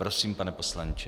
Prosím, pane poslanče.